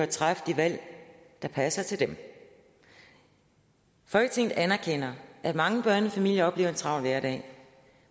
træffe de valg der passer til dem folketinget anerkender at mange børnefamilier oplever en travl hverdag